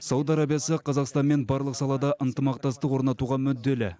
сауд арабиясы қазақстанмен барлық салада ынтымақтастық орнатуға мүдделі